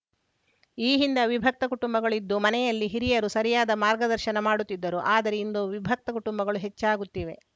ಈ ಹಿಂದೆ ಅವಿಭಕ್ತ ಕುಟುಂಬಗಳು ಇದ್ದು ಮನೆಯಲ್ಲಿ ಹಿರಿಯರು ಸರಿಯಾದ ಮಾರ್ಗದರ್ಶನ ಮಾಡುತ್ತಿದ್ದರು ಆದರೆ ಇಂದು ವಿಭಕ್ತ ಕುಟುಂಬಗಳು ಹೆಚ್ಚಾಗುತ್ತಿವೆ